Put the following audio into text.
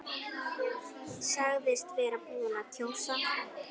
Sagðist vera búinn að kjósa.